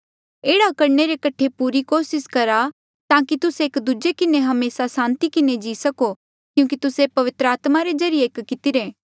एह्ड़ा करणे रे कठे पूरी कोसिस करहा ताकि तुस्से एक दूजे किन्हें हमेसा सांति किन्हें जी सको क्यूंकि तुस्से पवित्र आत्मा रे ज्रीए एक कितिरे